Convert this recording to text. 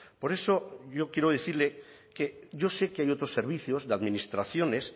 por eso yo quiero decirle que yo sé que hay otros servicios de administraciones